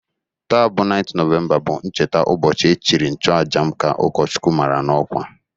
Taa bụ 9th Nọvemba, bụ ncheta ụbọchị echiri nchuaja m, ka ụkọchukwu mara n'ọkwa